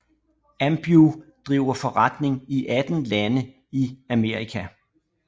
Ambev driver forretning i 18 lande i Amerika